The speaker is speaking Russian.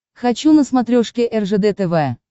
хочу на смотрешке ржд тв